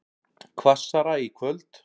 Hvassara í kvöld